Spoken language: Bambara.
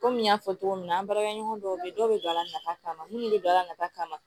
Komi n y'a fɔ cogo min na an baaraɲɔgɔn dɔw bɛ yen dɔw bɛ don a la nafa kama minnu bɛ don a la nafa ma